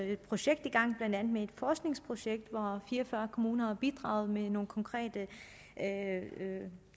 et projekt i gang blandt andet et forskningsprojekt hvor fire og fyrre kommuner har bidraget med nogle konkrete